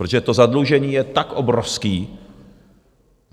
Protože to zadlužení je tak obrovské,